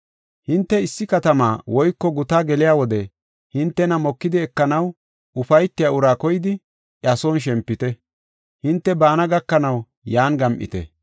“Hinte issi katamaa woyko gutaa geliya wode hintena mokidi ekanaw ufaytiya uraa koyidi iya son shempite; hinte baana gakanaw yan gam7ite.